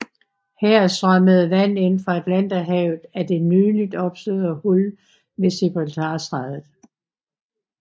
Her strømmede vand ind fra Atlanterhavet af det nyligt opståede hul ved Gibraltarstrædet